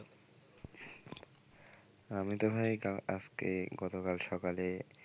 আমিতো ভাই কাল আজকে গত কাল সকালে,